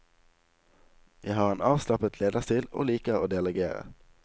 Jeg har en avslappet lederstil og liker å delegere.